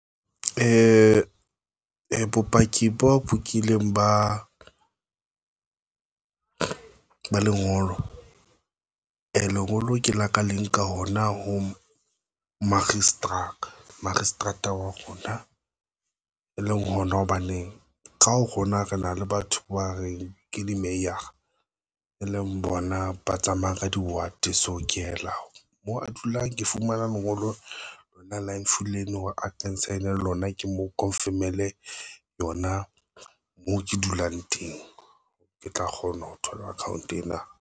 Bopaki boo bokileng ba ba lengolo a lengolo ke laka leng ka ona ho moakgiseterata moakgiseterata wa rona, e leng hona hobane ka ho rona re na le batho ba reng ke di-Meyer a e leng bona, ba tsamaya ka di-water. So, ke ela moo a dulang, Ke fumane nna mongolo lona Loan villain hore a concern lona ke mo confermele yona. Moo ke dulang teng ke tla kgona ho thola account ena.